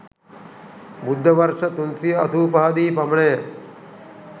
බුද්ධ වර්ෂ 385 දී පමණ ය.